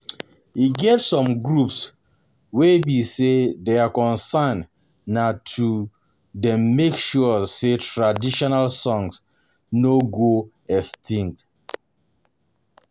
E get some groups wey be sey their concern na make um dem make sure say traditional song no go extinct